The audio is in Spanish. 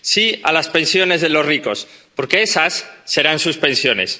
Sí a las pensiones de los ricos, porque esas serán sus pensiones.